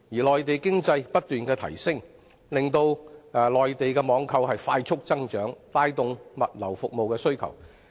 內地經濟不斷發展，令內地網購增長加快，帶動本港物流服務的需求。